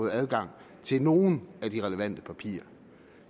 adgang til nogle af de relevante papirer